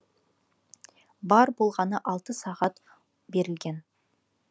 бар болғаны алты сағат берілген